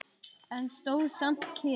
En stóð samt kyrr.